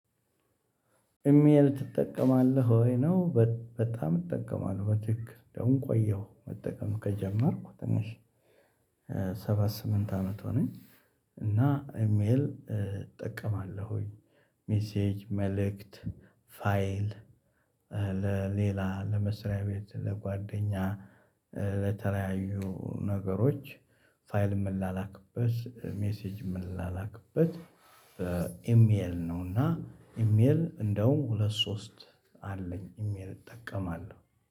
ኢሜል? ትጠቀማለህ ወይ ነው በጣም እጠቀማለሁ በትክክል ደግሞ ቆየሁ መጠቀም ከጀመርኩ ትንሽ ሰባት ስምንት አመት ሆነኝ። እና ኢሜል እጠቀማለሁኝ። ሜሴጅ መልእክት ፋይል ለሌላ ለመስሪያ ቤት ለጓደኛ። ለተለያዩ ነገሮች ፋይል የምንላላክበት ሜሴጅ የምንላላክበት። በኢሜል ነውና ኢሜል እንደውም ሁለት ሶስት አለኝ። ኢሜል እጠቀማለሁ።